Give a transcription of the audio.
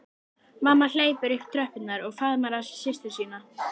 Mamma hleypur upp tröppurnar og faðmar að sér systur sína.